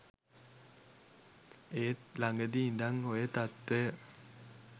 ඒත් ලඟදි ඉඳන් ඔය තත්වය